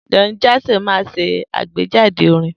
Don Jazzy máa ń ṣe àgbéjáde orin